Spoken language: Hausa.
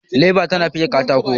leba tana fike katako